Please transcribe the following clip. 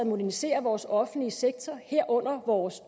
modernisere vores offentlige sektor herunder vores